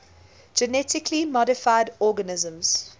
genetically modified organisms